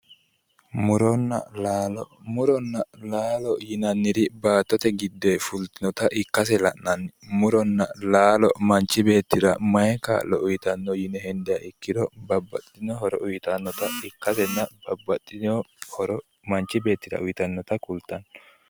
Muronna laalo. Yinanniri baattote giddonni fultinota ikkase la'nanni murono manchi beettira mayi horo uyitanno yine hendiro babbaxxit horo uyitannota ikkasena babbaxxitewo roro manchi beettira uyitannota kultanno